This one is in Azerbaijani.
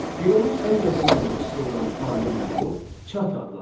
Fironun ən yaxın köməkçisi olan ali məmur Çati adlanırdı.